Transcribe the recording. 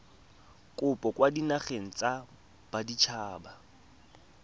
kopo kwa dinageng tsa baditshaba